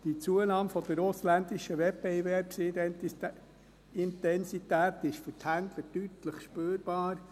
Die Zunahme der ausländischen Wettbewerbsintensität ist für die Händler deutlich spürbar.